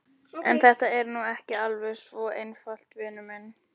En þetta er nú ekki alveg svona einfalt, vinur minn.